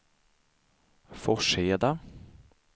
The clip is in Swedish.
Forsheda